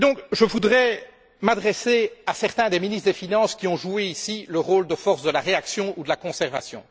Je voudrais m'adresser à certains des ministres des finances qui ont joué ici le rôle de force de la réaction ou du conservatisme.